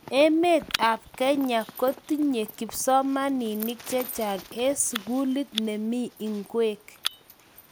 Emet ab kenya kotinye kipsomanink chechang en sukulit nemii ingweng